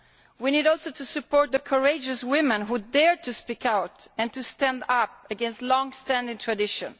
We need also to support the courageous women who dare to speak out and to stand up against long standing tradition.